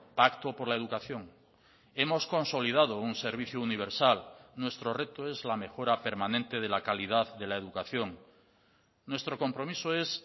pacto por la educación hemos consolidado un servicio universal nuestro reto es la mejora permanente de la calidad de la educación nuestro compromiso es